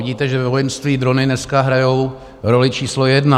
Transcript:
Vidíte, že ve vojenství drony dneska hrají roli číslo jedna.